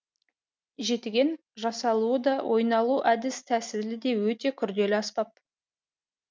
жетіген жасалуы да ойналу әдіс тәсілі де өте күрделі аспап